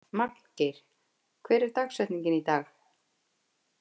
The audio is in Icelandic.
Magngeir, hver er dagsetningin í dag?